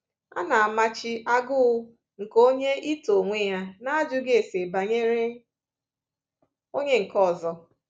A na-amachi agụụ nke onye ito onwe ya n’ajụghị ase banyere onye nke ọzọ.